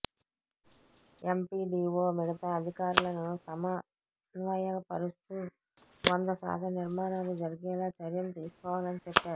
MPDO మిగతా అధికారులను సమ న్వయపరుస్తూ వంద శాతం నిర్మాణాలు జరిగేలా చర్యలు తీసుకోవాలని చెప్పారు